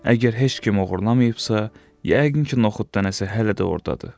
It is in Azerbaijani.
Əgər heç kim oğurlamayıbsa, yəqin ki, noxud dənəsi hələ də ordadır.